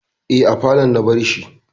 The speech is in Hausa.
Eh, a falon na bar shi